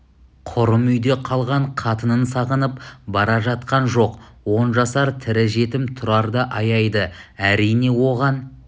құрым үйде қалған қатынын сағынып бара жатқан жоқ он жасар тірі жетім тұрарды аяйды әрине оған